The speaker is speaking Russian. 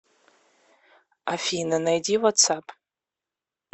афина найди ватс ап